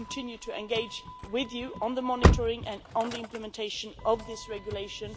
We will continue to engage with you on the monitoring and implementation of this regulation.